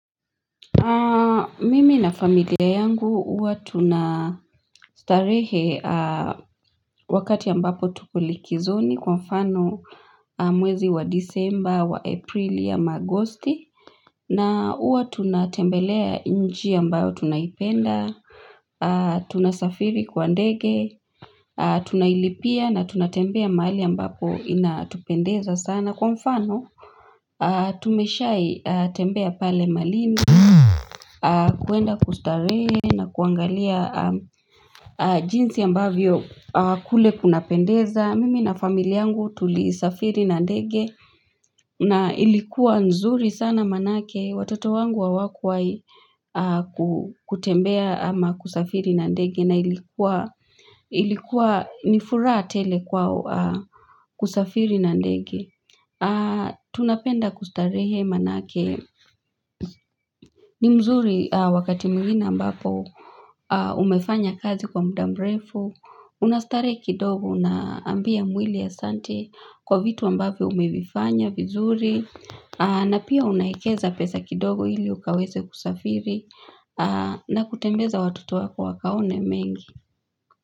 Mimi na familia yangu uwatunastarehe wakati ambapo tuko likizoni kwa mfano mwezi wa disemba wa aprili ama augosti na uwa tunatembelea nchi ambayo tunaipenda Tunasafiri kwa ndege tunailipia na tunatembea mahali ambapo inatupendeza sana kwa mfano Tumeshai tembea pale malindi kuenda kustarehe na kuangalia jinsi ambavyo kule kuna pendeza mimi na familia yangu tulisafiri na ndege na ilikuwa nzuri sana manake watoto wangu hawakuwahi kutembea ama kusafiri na ndege na ilikuwa ilikuwa nifuraha tele kwao kusafiri na ndege Tunapenda kustarehe manake ni mzuri wakati mwingine ambapo umefanya kazi kwa muda mrefu Unastarehe kidogo na ambia mwili santi kwa vitu ambavyo umevifanya vizuri na pia unaekeza pesa kidogo ili ukaweze kusafiri na kutembeza watoto wako wakaone mengi.